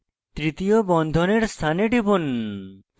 তৃতীয় বন্ধনের স্থানে টিপুন